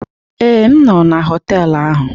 Ee, m nọ na họtelu ahu.